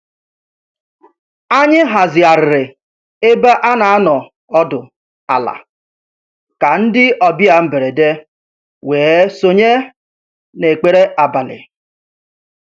Anyị hazigharịrị ebe a n'anọdụ ala ka ndị ọbịa mberede wee sonye na ekpere abalị.